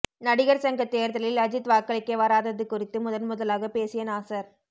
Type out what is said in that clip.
நடிகர் சங்க தேர்தலில் அஜித் வாக்களிக்க வராதது குறித்து முதன் முதலாக பேசிய நாசர்